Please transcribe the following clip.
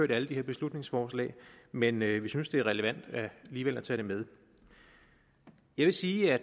alle de her beslutningsforslag men vi synes det er relevant alligevel at tage det med jeg vil sige at